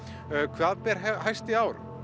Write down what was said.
hvað ber hæst í ár